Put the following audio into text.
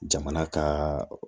Jamana ka